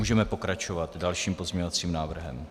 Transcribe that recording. Můžeme pokračovat dalším pozměňovacím návrhem.